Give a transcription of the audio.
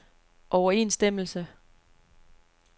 overensstemmelse